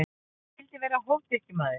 Ég vildi vera hófdrykkjumaður.